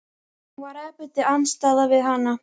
Hann var æpandi andstæða við hana.